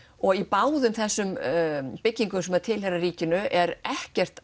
og í báðum þessum byggingum sem tilheyra ríkinu er ekkert